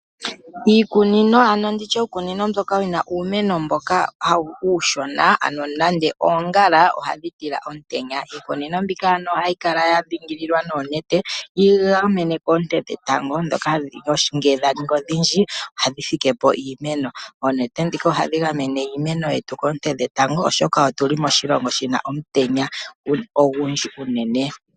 Iikunino ano nditye uukunino mboka wuna uumeno mboka uushona ano nande oongala ohadhi tila omutenya, iikunino mbika ohayi kala yadhingililwa noonete yii gamene koonte dhetango dhoka ngele dhaningi odhindji ohadhi fike po iimeno. Oonete dhika ohadhi gamene iimeno yetu koonte dhetango oshoka otuli moshilongo shina omutenya ogundji unene.